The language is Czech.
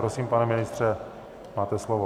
Prosím, pane ministře, máte slovo.